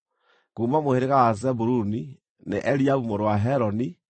kuuma mũhĩrĩga wa Zebuluni, nĩ Eliabu mũrũ wa Heloni;